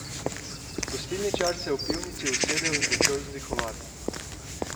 Gostilničar se je v pivnici usedel in začel vzdihovati.